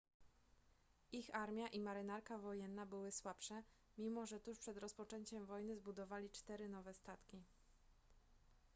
ich armia i marynarka wojenna były słabsze mimo że tuż przed rozpoczęciem wojny zbudowali cztery nowe statki